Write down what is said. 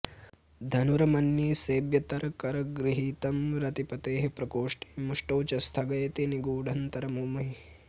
धनुर्मन्ये सव्येतरकरगृहीतं रतिपतेः प्रकोष्ठे मुष्टौ च स्थगयति निगूढान्तरमुमे